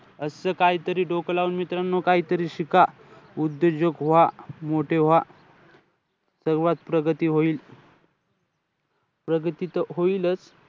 असं काहीतरी डोकं लावून मित्रानो काहीतरी शिका. उद्योजक व्हा. मोठे व्हा. तेव्हाचं प्रगती होईल. प्रगती त होईलचं.